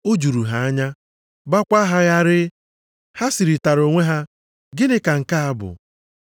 O juru ha anya, gbaakwa ha gharịị. Ha sịrịtara onwe ha, “Gịnị ka nke a bụ?”